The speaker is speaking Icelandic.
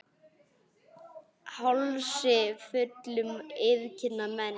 Hálsi fullum iðka menn.